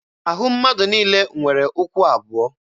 Ahụ mmadụ niile nwere ụkwụ abụọ